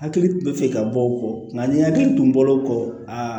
Hakili bɛ fɛ ka bɔ o kɔ nka nin hakili tun bɔr'o kɔ aa